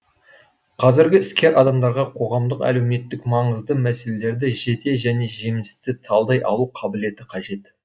қазіргі іскер адамдарға қоғамдық әлеуметтік маңызды мәселелерді жете және жемісті талдай алу қабілеті қажет